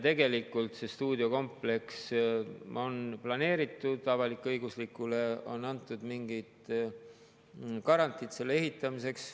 Tegelikult see stuudiokompleks on planeeritud, avalik-õiguslikule on antud mingi garantii selle ehitamiseks.